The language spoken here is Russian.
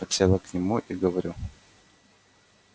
подсела к нему и говорю